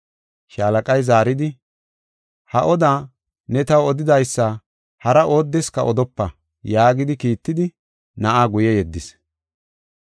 Shaalaqay zaaridi, “Ha oda ne taw odidaysa hara oodeska odopa” yaagidi kiittidi na7aa guye yeddis.